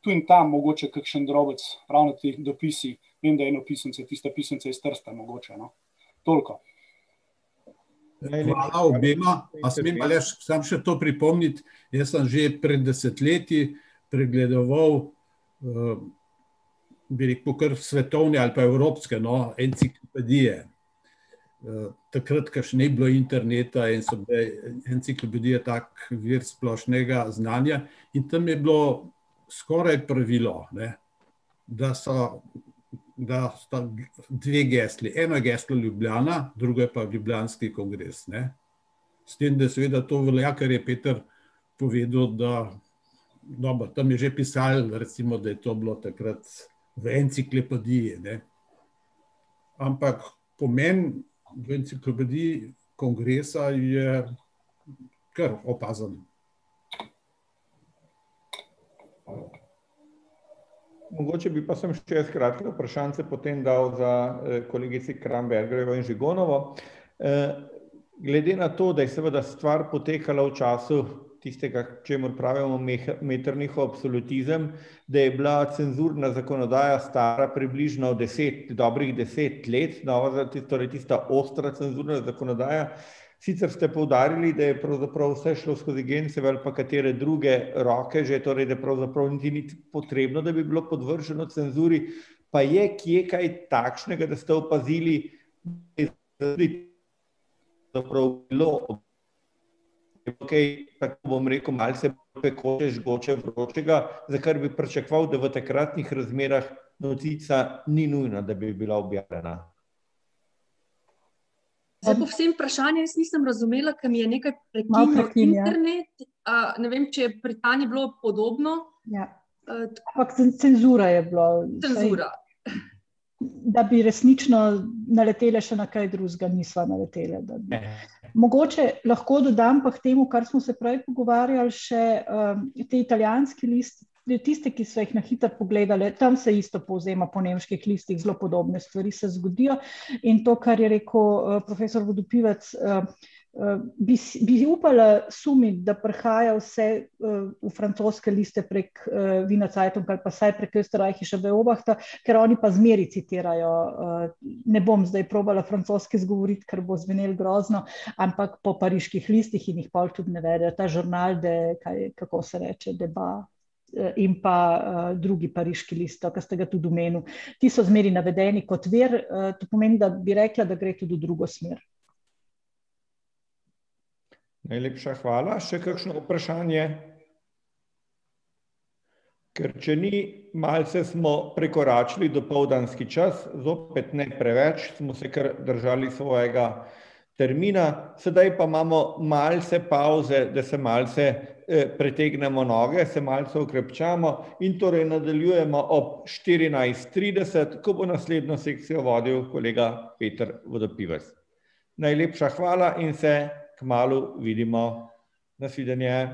govor] Mogoče bi pa samo še jaz kratko vprašanjce potem dal za kolegici Krambergerjevo in Žigonovo. glede na to, da je seveda stvar potekala v času tistega, čemur pravimo Metternichov absolutizem, da je bila cenzurna zakonodaja stara približno deset, dobrih deset let, nova, torej tista ostra cenzurna zakonodaja, sicer ste poudarili, da je pravzaprav vse šlo skozi Genčeve ali pa katere druge roke, že torej da pravzaprav niti ni potrebno, da bi bilo podvrženo cenzuri, pa je kje kaj takšnega, da sta opazili, za kar bi pričakoval, da v takratnih razmerah novica ni nujno, da bi bila objavljena? vprašanje jaz nisem razumela, ker mi je nekaj prekinjalo internet. ne vem, če je vprašanje bilo podobno. Ja. cenzura je bila. Cenzura. Da bi resnično naleteli še na kaj drugega, nisva naleteli. Mogoče lahko dodam pa k temu, kar smo se prej pogovarjali, še ta italijanski list, torej tiste, ki sva jih na hitro pogledali, tam se isto povzema po nemških listih, zelo podobne stvari se zgodijo, in to, kar je rekel, profesor Vodopivec, bi bi upala sumiti, da prihaja vse, v francoske liste prek, Wienerzeitunga ali pa vsaj prek Oesterreichische Beobachter, ker oni pa zmeraj citirajo, ne bom zdaj probala francosko izgovoriti, ker bo zvenelo grozno, ampak po pariških listih in jih pol tudi navedli, ta žurnal, da, kaj, kako se reče, Depa ... in pa drugi pariški list, no, ke ste ga tudi omenil. Ti so zmeraj navedeni kot vir, to pomeni, da bi rekla, da gre tudi v drugo smer. Najlepša hvala. Še kakšno vprašanje? Ker če ni, malce smo prekoračili dopoldanski čas, zopet ne preveč, smo se kar držali svojega termina, sedaj pa imamo malce pavze, da se malce, pretegnemo noge, se malce okrepčamo in torej nadaljujemo ob štirinajst trideset, ko bo naslednjo sekcijo vodil kolega [ime in priimek] . Najlepša hvala in se kmalu vidimo. Na svidenje.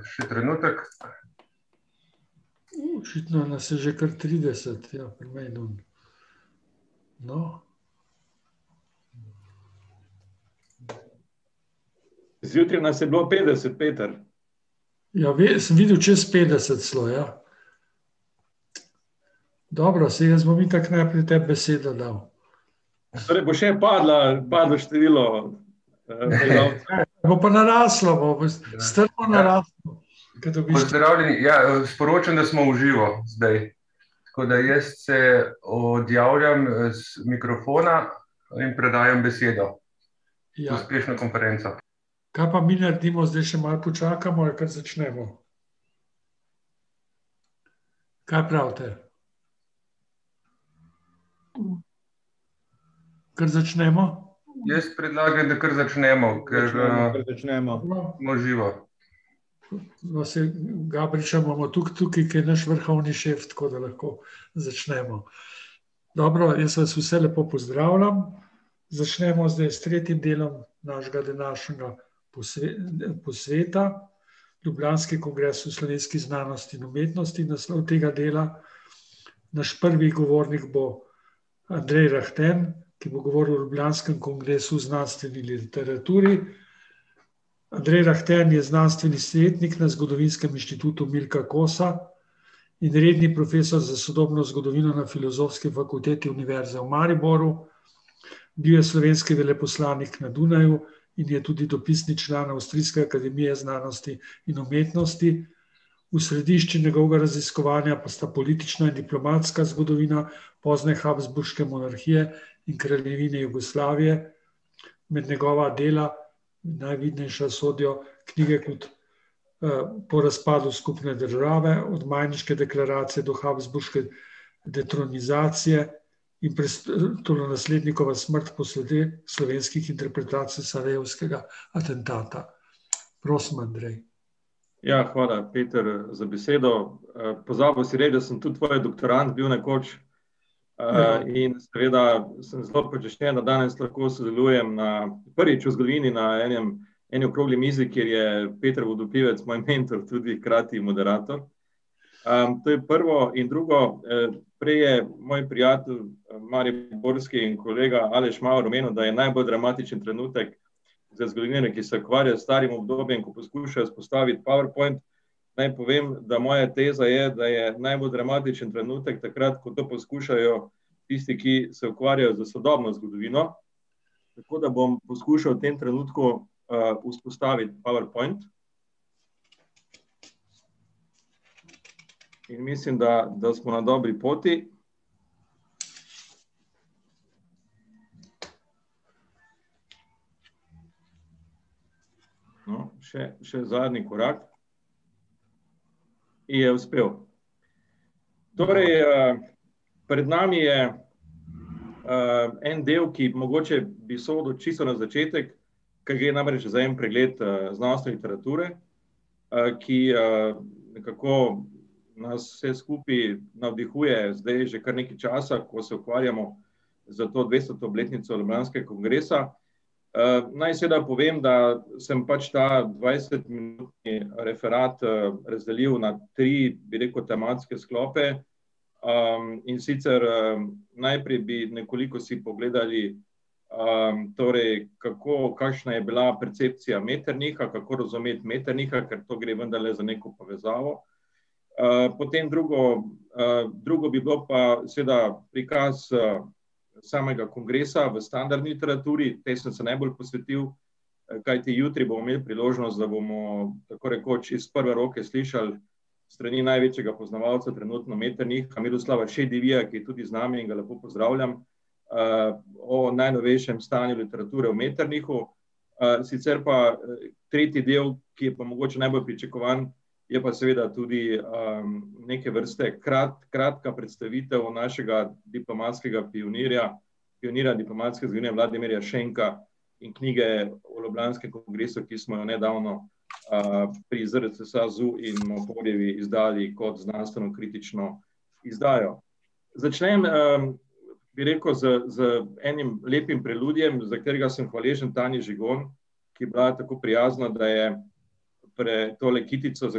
še trenutek. [anonimiziran govor] Ja, hvala Peter za besedo. pozabil si reči, da sem tudi tvoj doktorand bil nekoč, in seveda sem zelo počaščen, da danes lahko sodelujem na, prvič v zgodovini na enem, eni okrogli mizi, kjer je [ime in priimek] moj mentor in tudi hkrati moderator. to je prvo in drugo, prej je moj prijatelj, mariborski in kolega Aleš Maver omenil, da je najbolj dramatičen trenutek, za zgodovinarja, ki se ukvarja s starim obdobjem, ko poskuša vzpostaviti powerpoint, naj povem, da moja teza je, da je najbolj dramatičen trenutek takrat, ko to poskušajo tisti, ki se ukvarjajo s sodobno zgodovino, tako da bom poskušal v tem trenutku, vzpostaviti powerpoint. Ker mislim, da, da smo na dobri poti. No, še, še zadnji korak. Ki je uspel. Torej, pred nami je, en del, ki mogoče bi sodil čisto na začetek, ker gre namreč za en pregled, znanstvene literature, ki, nekako nas vse skupaj navdihuje zdaj že kar nekaj časa, ko se ukvarjamo s to dvestoto obletnico ljubljanskega kongresa. naj seveda povem, da sem pač ta dvajsetminutni referat, razdelil na tri, bi rekel, tematske sklope, in sicer, najprej bi nekoliko si pogledali torej, kako, kakšna je bila percepcija Metternicha, kako razumeti Metternicha, ker to gre vendarle za neko povezavo. potem drugo, drugo bi bilo pa seveda prikaz, samega kongresa v standardni literaturi, tej sem se najbolj posvetil, kajti jutri bomo imeli priložnost, da bomo tako rekoč iz prve roke slišali s strani največjega poznavalca trenutno Metternicha, Miroslava Šedirija, ki je tudi z nami in ga lepo pozdravljam, o najnovejšem stanju literature o Metternichu. sicer pa, tretji del, ki je pa mogoče najbolj pričakovan, je pa seveda tudi, neke vrste kratka predstavitev našega diplomatskega pionirja, pionirja diplomatske zgodovine, Vladimirja Šenka, in knjige o ljubljanskem kongresu, ki smo jo nedavno, pri ZRC SAZU in Mohorjevi izdali kot znanstvenokritično izdajo. Začnem, bi rekel, z, z enim lepim preludijem, za katerega sem hvaležen Tanji Žigon, ki je bila tako prijazna, da je tole kitico, za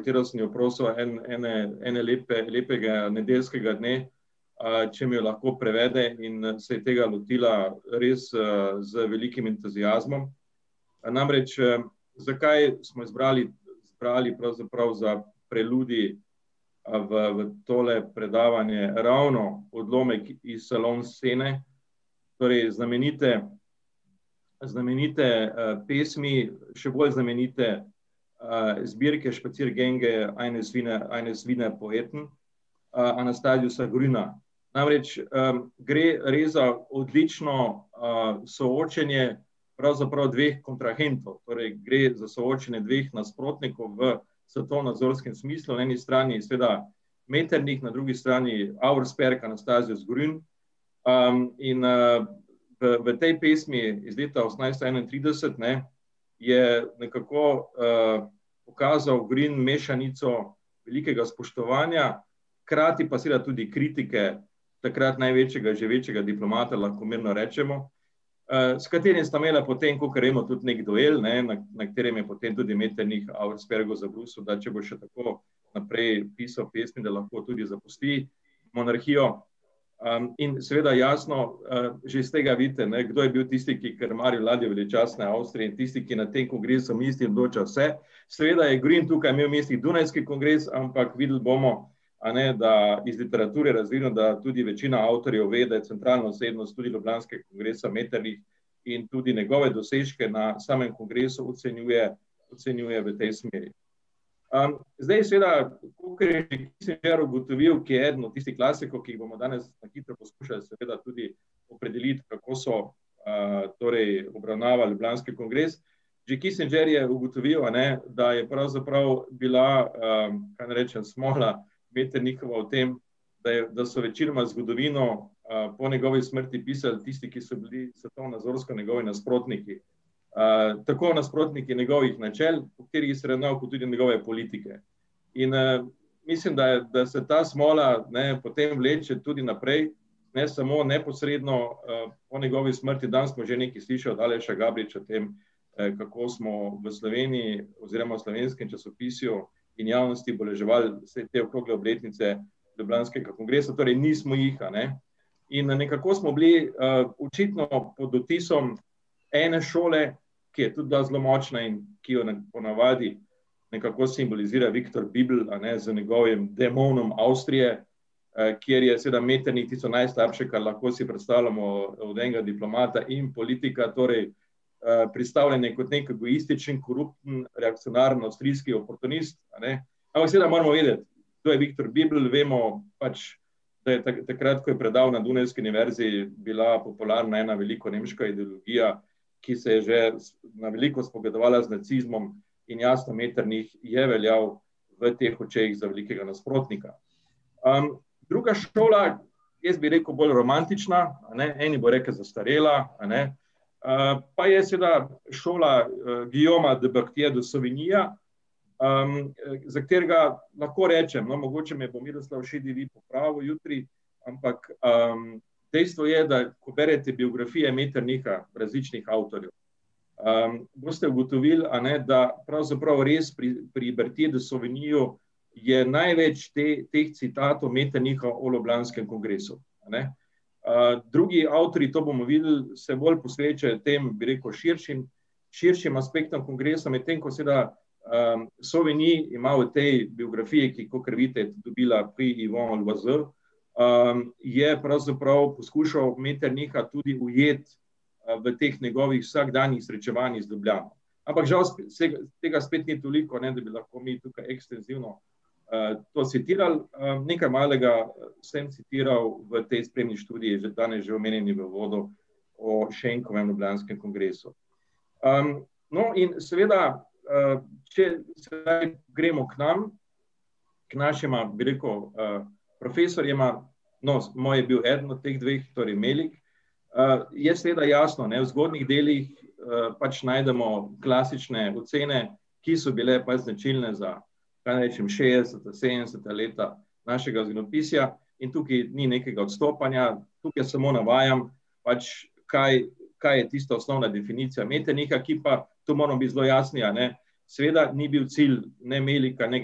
katero sem jo prosil, en, ene, ene lepega nedeljskega dne, če mi jo lahko prevede, in, se je tega lotila res, z velikim entuziazmom. namreč, zakaj smo izbrali, zbrali pravzaprav za preludij, v, v tole predavanje ravno odlomek iz scene, torej znamenite, znamenite, pesmi, še bolj znamenite zbirke Spaziergänge eines Wiener, eines Wiener Poeten, Anastasiusa Grüna. Namreč, gre res za odlično, soočenje pravzaprav dveh kontrahentov, torej gre za soočenje dveh nasprotnikov v svetovno-sociološkem smislu, na eni strani seveda Metternich, na drugi strani Auersperg, Anastasius Grün, in, v tej pesmi iz leta osemnajststo enaintrideset, ne, je nekako, pokazal Grün mešanico velikega spoštovanja, hkrati pa seveda tudi kritike takrat največjega živečega diplomata, lahko mirno rečemo, s katerim sta imela, kakor vemo, tudi neki duel, ne, na katerem je potem tudi Metternich Auerspergu zabrusil, da če bo še tako naprej pisal pesmi, da lahko tudi zapusti monarhijo. in seveda jasno, že s tega vidite, ne, kdo je bil tisti, ki je krmar ladje veličastne Avstrije, in tisti, ki na tem kongresu odloča vse, seveda je Grün tukaj imel v mislih dunajski kongres, ampak videli bomo, a ne, da je iz literature razvidno, da tudi večina avtorjev ve, da je centralna osebnost tudi ljubljanskega kongresa Metternich, in tudi njegove dosežke na samem kongresu ocenjuje, ocenjuje v tej smeri. zdaj seveda, kakor je ugotovil, ki je eden od tistih klasikov, ki jih bomo danes na hitro skušali seveda tudi opredeliti, kako so, torej obravnavali ljubljanski kongres. Že je ugotovil, a ne, da je pravzaprav bila, kaj naj rečem, smola Metternichova v tem, da je, da so večinoma zgodovino, po njegovi smrti pisal tisti, ki so bili svetovnonazorsko njegovi nasprotniki. tako nasprotniki njegovih načel, po katerih se je ravnal, kot tudi njegove politike. In, mislim, da je, da se ta smola, ne, potem vleče tudi naprej, ne samo neposredno, po njegovi smrti, danes smo že nekaj slišali Aleša Gabriča o tem, kako smo v Sloveniji oziroma v slovenskem časopisju in javnosti obeleževali vse te okrogle obletnice ljubljanskega kongresa, torej nismo jih, a ne. In, nekako smo bili, očitno pod vtisom ene šole, ki je tudi bila zelo močna in ki jo ponavadi nekako simbolizira Viktor , a ne, z njegovim demonom Avstrije, kjer je seveda Metternich pisal najslabše, kar lahko si predstavljamo od enega diplomata in politika, predstavljen je kot neki egoistični korupten avstrijski oportunist, a ne, ampak seveda moramo vedeti, kdo je Viktor , vemo pač, da je takrat, ko je predaval na dunajski univerzi, bila popularna ena velikonemška ideologija, ki se je že na veliko spogledovala z nacizmom, in jasno, Metternich je veljal v teh očeh za velikega nasprotnika. druga šola, jaz bi rekel bolj romantična, a ne, eni bojo rekli zastarela, a ne, pa je seveda šola Guillauma Debactyja de Sovenyja, za katerega lahko rečem, no, mogoče me bo Miroslav Šedevit popravil jutri, ampak, dejstvo je, da ko bereš bibliografije Metternicha različnih avtorjev, boste ugotovili, a ne, da pravzaprav res pri, pri Sovenyju je največ teh citatov Metternicha o ljubljanskem kongresu, a ne. drugi avtorji, to bomo videli, se bolj posvečajo tem, bi rekel, širšim, širšim aspektom kongresa, medtem ko seveda Soveny ima v tej biografiji, ki, kakor vidite, je tudi dobila, je pravzaprav skušal Metternicha tudi ujeti, v teh njegovih vsakdanjih srečevanjih iz Ljubljane. Ampak žal saj tega spet ni toliko, ne, da bi lahko mi tukaj ekstenzivno, to citirali, nekaj malega sem citiral v tej spletni študiji, že danes že omenjeni v uvodu, o Šenkovem ljubljanskem kongresu. no, in seveda, če sedaj gremo k nam, ker našima, bi rekel, profesorjema, no, moj je bil eden od teh dveh, torej Melik, je seveda jasno, ne, v zgodnjih delih pač najdemo klasične ocene, ki so bile pač značilne za kaj naj rečem, šestdeseta, sedemdeseta leta našega zgodovinopisja in tukaj ni nekega odstopanja, tukaj samo navajam pač kaj, kaj je tista osnovna definicija Metternicha, ki pa, to pa moramo biti zelo jasni, a ne, seveda ni bil cilj ne Melika ne ,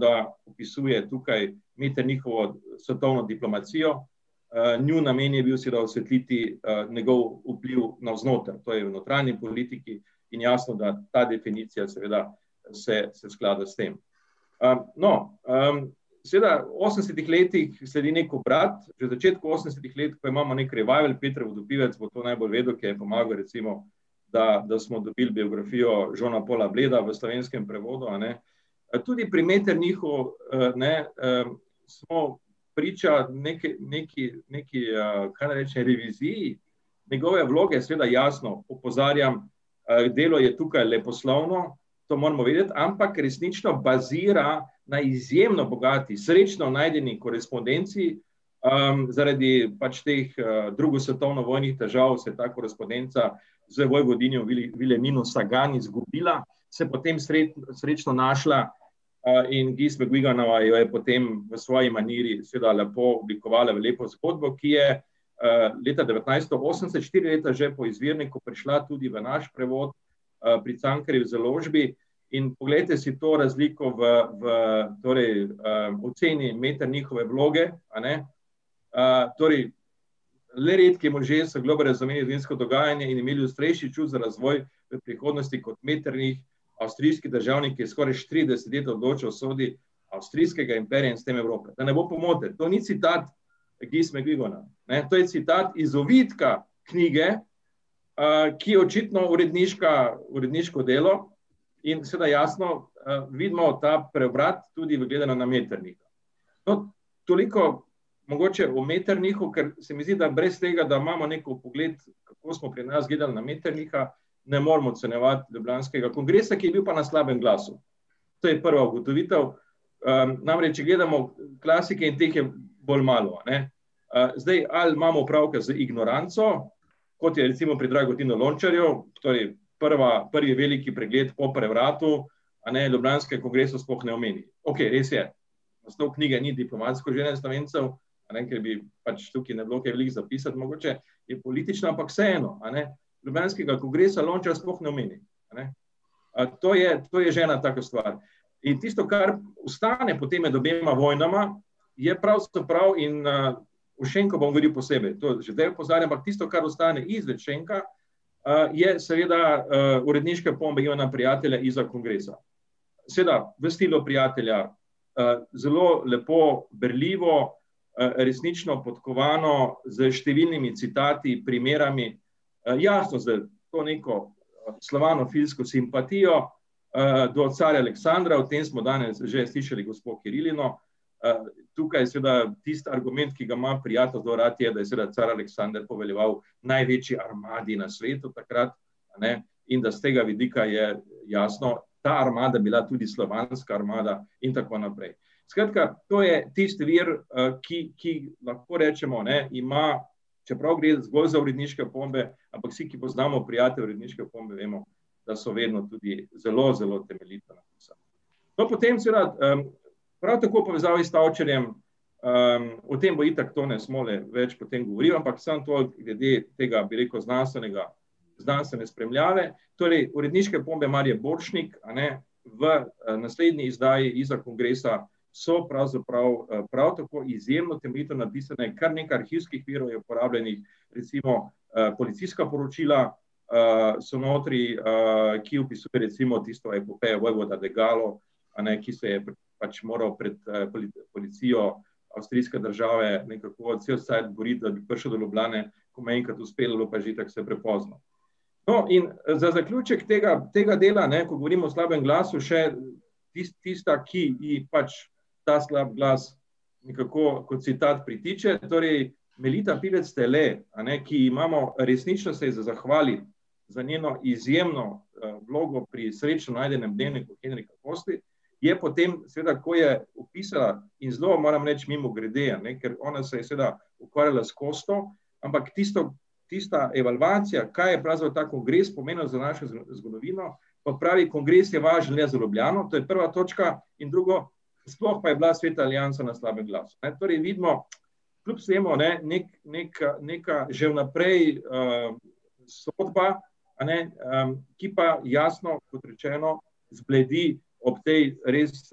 da opisuje tukaj Metternichovo svetovno diplomacijo, njun namen je bil seveda osvetliti, njegov vpliv navznoter, to je v notranji politiki, in jasno, da ta definicija seveda se, se sklada s tem. no, seveda v osemdesetih letih sledi neki obrat, v začetku osemdesetih let pa imamo neki rival, [ime in priimek] bo to najbolj vedel, ker je pomagal recimo, da, da smo dobili biografijo Jeana Paula v slovenskem prevodu, a ne, pa tudi pri Metternichu, ne, smo priča neki, neki, neki, kaj naj rečem reviziji njegove vloge, seveda jasno opozarjam, delo je tukaj leposlovno, to moramo vedeti, ampak resnično bazira na izjemno bogati, srečno najdeni korespondenci, zaradi pač teh drugosvetovnovojnih držav se ta korespondenca za vojvodinjo Nino izgubila, se potem srečno našla, in v bistvu jo je potem v svoji maniri seveda lepo oblikovala v lepo zgodbo, ki je, leta devetnajststo osemdeset, štiri leta že po izvirniku prišla tudi v naš prevod, pri Cankarjevi založbi. In poglejte si to razliko v, v torej, oceni Metternichove vloge, a ne, torej, le redki možje so globlje razumeli dogajanje in imeli ostrejši čut za razvoj, prihodnosti kot Metternich, avstrijski državnik, ki je skoraj let odločal o usodi avstrijskega imperija in s tem Evrope. Da ne bo pomote, to ni citat , ne, to je citat iz ovitka knjige ki je očitno uredniška, uredniško delo, in seveda jasno, vidimo ta preobrat, tudi gledano na Metternicha. No, toliko mogoče o Metternichu, ker se mi zdi, da brez tega, da imamo neki vpogled, kako smo pri nas gledali na Metternicha, ne moremo ocenjevati ljubljanskega kongresa, ki je bil pa na slabem glasu. To je prva ugotovitev. namreč, če gledamo klasike, teh je bolj malo, a ne. zdaj ali imamo opravka z ignoranco, kot je recimo pri Dragotinu , to je prva, prvi veliki pregled o prevratu a ne, ljubljanskega kongresa sploh ne omeni. Okej, res je, naslov knjige ni Diplomatsko življenje Slovencev, a ne, ker bi pač tukaj ne bilo kaj veliko za pisati mogoče, je politična, ampak vseeno, a ne, ljubljanskega kongresa Lončar sploh ne omeni, a ne. to je, to je že ena taka stvar, in tisto, kar ostane potem med obema vojnama, je pravzaprav in, ... O Šenku bom govoril posebej, to že zdaj opozarjam, ampak tisto, kar ostane izven Šenka, je seveda, uredniške opombe Ivana Prijatelja Izza kongresa. Seveda, v stilu Prijatelja, zelo lepo berljivo, resnično podkovano s številnimi citati, primerami, jasno, z to neko slovanofilsko simpatijo, do carja Aleksandra, o tem smo danes že slišali gospo Kirilino. tukaj seveda tisti argument, ki ga ima Prijatelj zelo rad, je, da je car Aleksander poveljeval največji armadi na svetu takrat, a ne, in da s tega vidika je jasno, ta armada bila tudi slovanska armada in tako naprej. Skratka, to je tisti vir, ki, ki, lahko rečemo, ne, ima, čeprav gre zgolj za uredniške opombe, ampak vsi, ki poznamo Prijateljeve uredniške opombe, vemo, da so vedno tudi zelo zelo temeljito napisane. No, potem seveda, prav tako v povezavi s Tavčarjem, o tem bo itak [ime in priimek] več potem govoril, ampak samo toliko glede tega, bi rekel, znanstvenega, znanstvene spremljave, torej uredniške opombe Marje Borštnik, a ne, v, naslednji izdaji Izza kongresa so pravzaprav, prav tako izjemno temeljito napisane, kar nekaj arhivskih virov je uporabljenih, recimo, policijska poročila, so notri, ki torej recimo tisto epopejo vojvoda , a ne, ki se je pač moral pred, policijo avstrijske države nekako cel cajt boriti, da bi prišel do Ljubljane, ko mu je enkrat uspelo, je bilo pa že itak vse prepozno. No, in, za zaključek tega, tega dela, ne, govorim o slabem glasu, še tista, ki je pač ta slabi glas nekako kot citat pritiče, torej Melita Pivec Stele, a ne, ki imamo resnično se ji za zahvaliti za njeno izjemno, vlogo pri srečno najdenem dnevniku Henrika Koste, je potem seveda, ko je opisala, in zelo, moram reči, mimogrede, a ne, ker ona se je seveda ukvarjala s Kosto, ampak tisto, tista evalvacija, kaj je pravzaprav ta kongres pomenil za našo zgodovino, pa pravi, kongres je važen le za Ljubljano, to je prva točka, in drugo, sploh pa je bila Sveta aliansa na slabem glasu, ne, torej vidimo, kljub vsemu, a ne, neka, neka že vnaprej, sodba, a ne, ki pa jasno, kot rečeno, zbledi ob tej res,